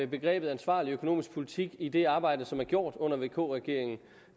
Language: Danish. begrebet ansvarlig økonomisk politik i det arbejde som er gjort under vk regeringen